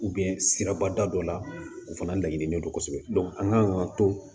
sirabada dɔ la o fana laɲini de do kosɛbɛ an kan ka to